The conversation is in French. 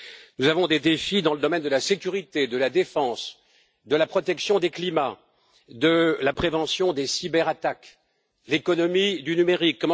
Nous avons des défis dans le domaine de la sécurité, de la défense, de la protection du climat, de la prévention des cyberattaques, de l'économie du numérique.